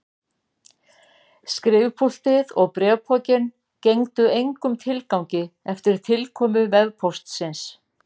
Skrifpúltið og bréfpokinn gengdu engum tilgangi eftir tilkomu vefpóstsins.